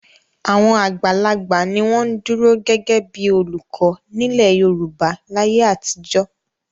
Àwọn àgbàlagbà ni wọ́n ń dúró gẹ́gẹ́ bí i olùkọ́ nílẹ̀ Yorùbá láyé àtijọ́.